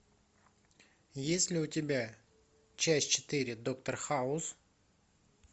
есть ли у тебя часть четыре доктор хаус